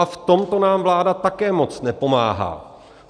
A v tomto nám vláda také moc nepomáhá.